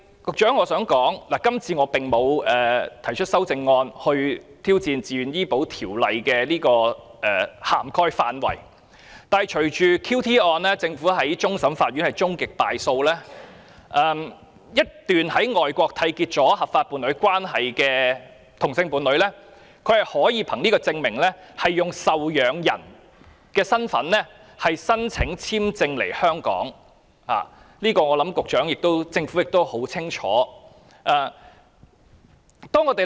我想告訴局長，今次我沒有提出修正案以挑戰自願醫保的涵蓋範圍，但在 "QT" 一案中，終審法院判政府敗訴，在外國締結合法伴侶關係的同性伴侶便可以受養人身份申請簽證來港，我相信局長和政府都清楚了解這點。